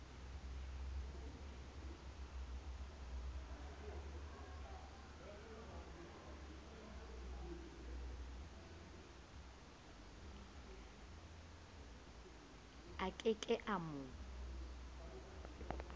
a ke ke a mo